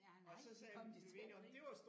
Ja nej kom de til at grine